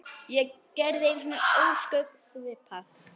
Ég gerði einu sinni ósköp svipað.